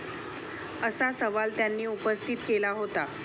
असा सवाल त्यांनी उपस्थित केला होता.